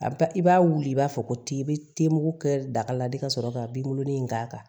A bɛ taa i b'a wuli i b'a fɔ ko te i bɛ te mugu kɛ daga la de ka sɔrɔ ka binkɔnɔnin in k'a kan